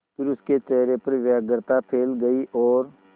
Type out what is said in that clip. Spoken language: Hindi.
फिर उसके चेहरे पर व्यग्रता फैल गई और